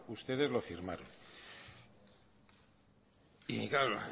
ustedes lo firmaron y claro